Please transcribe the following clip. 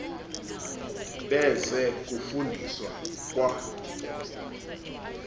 beze kufundisa kwa